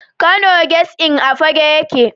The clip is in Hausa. Kano Guest Inn a Fagge yake.